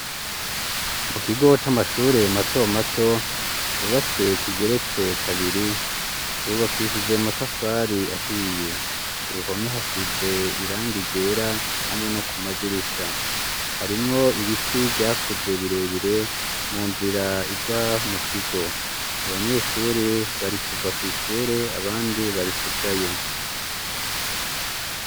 Mu kigo c'amashure, mato mato, cubatse kigeretse kabiri, cubakishije amatafari ahiye; ku ruhome, hasize irangi ryera, hamwe no kumadirisha; harimwo ibiti vyakuze, birebire, mu nzira ija mu kigo; abanyeshure, bari kuva kw'ishure, abandi bari kujayo.